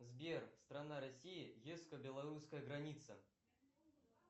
сбер страна россия белорусская граница